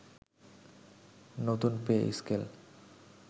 নতুন pay scale